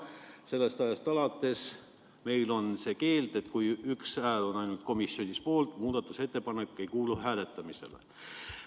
Sellest ajast alates meil on see keeld, et kui üks hääl on ainult komisjonis poolt, siis muudatusettepanek ei kuulu hääletamisele.